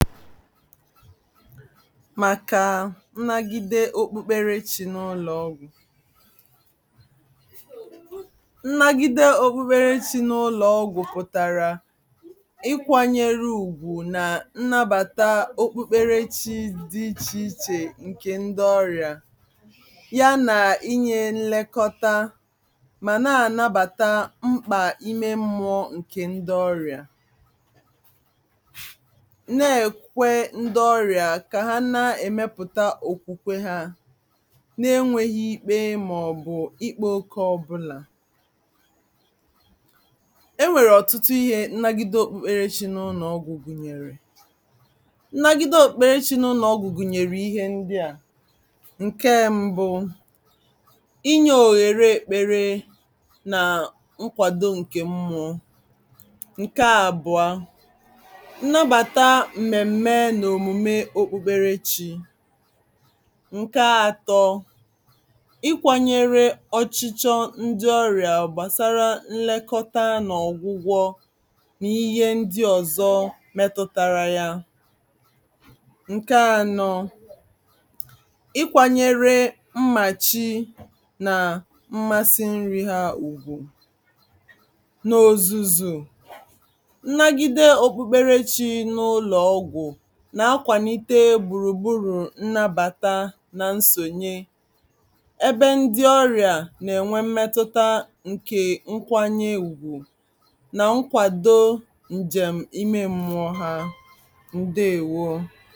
màkà nnagide okpukpere chi n’ụlọ̀ ọgwụ̀ nnagide okpukpere chi n’ụlọ̀ ọgwụ̀ pụ̀tàrà ikwȧnyere ùgwù nà nnabàta okpukpere chi dị ichè ichè ǹkè ndi ọrịà ya nà inyė nlekọta mà na-ànabàta mkpà ime mmụọ ǹkè ndi ọrịà Na-ekwe ndị ọrịa ka ha na-emepụta okwukwe ha, na-enweghị ikpe ma ọ bụ ikpe-oke ọbụla. Enwere ọtụtụ ihe nnabata okpukperechi n’ụlọ-ọgwụ gwụnyere nnagide okpukperechi n’ụlọ-ọgwụ gwụnyere ihe ndị a. Nke mbụ: Ịnye ohere ekpere na nkwado nke mmụọ. Nke abụọ: Nnabata mmemme na omume okpukperechi. Nke atọ: Ịkwanyere ọchịchọ ndị ọrịa gbasara nlekọta na ọgwụ-ọgwụ na ihe ndị ọzọ metụtara ya. Nke anọ: Ịkwanyere mmachị na mmasị nri ha ugwu n’ọzụzụ nnagide okpukperechi n’ụlọ-ọgwụ na-akwalite gburugburu nnabata na nnsonye ebe ndị ọrịa na enwe emetụta nke ịkwanyere ugwu na ịkwado njem ime mmụọ ha. Ndaewo.